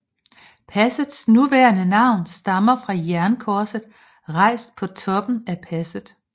Passets nuværende navn stammer fra jernkorset rejst på toppen af passet